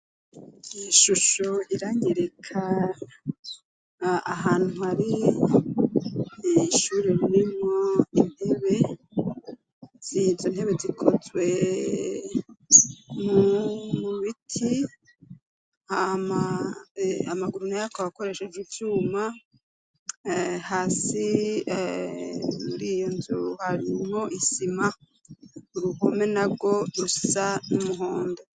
Ishusho iranyereka ahantu hari ishuri ririmwo intebe, izo ntebe zikozwe mu biti hama amaguru nayo akaba akoresheje ivyuma, hasi muri iyo nzu harimwo isima, uruhome narwo rusa n'umuhondo.